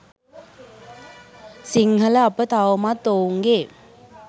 සිංහල අප තවමත් ඔවුන්ගේ